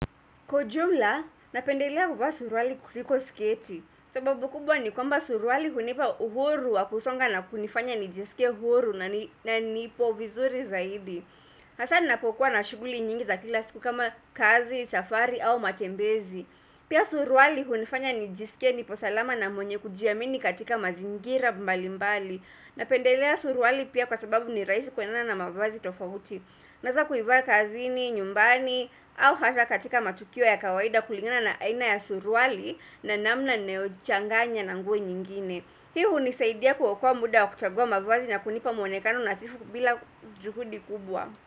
Kwa ujumla, napendelea kuvaa suruali kuliko sketi. Sababu kubwa ni kwamba suruali hunipa uhuru wa kusonga na kunifanya nijisike uhuru na nipo vizuri zaidi. Hasaa ninapokuwa na shughuli nyingi za kila siku kama kazi, safari au matembezi. Pia suruali hunifanya nijisike nipo salama na mwenye kujiamini katika mazingira mbali mbali. Napendelea suruali pia kwa sababu ni rahisi kwendana na mavazi tofauti. Naweza kuivaa kazini, nyumbani au hasaa katika matukio ya kawaida kulingana na aina ya suruali na namna ninayochanganya na nguo nyingine pia hunisaidia kuokoa muda wa kuchagua mavazi na kunipa mwonekano nadhifu bila juhudi kubwa.